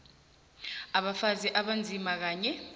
abafazi abanzima kanye